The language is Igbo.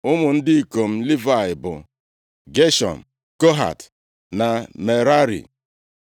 Ụmụ ndị ikom Livayị bụ, Geshọm, Kohat na Merari.